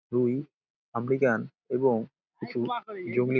রুই এমরিকান এবং কিছু জংলী--